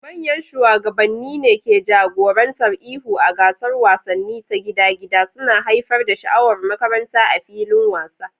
Manyan shugabanni ne ke jagorantar ihu a gasar wasanni ta gida-gida, suna haifar da sha'awar makaranta a filin wasa.